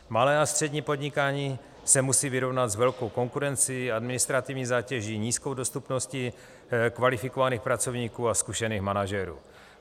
Malé a střední podnikání se musí vyrovnat s velkou konkurencí, administrativní zátěží, nízkou dostupností kvalifikovaných pracovníků a zkušených manažerů.